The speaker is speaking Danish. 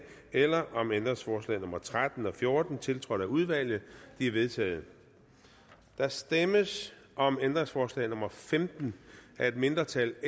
eller om ændringsforslag nummer tretten og fjorten tiltrådt af udvalget de er vedtaget der stemmes om ændringsforslag nummer femten af et mindretal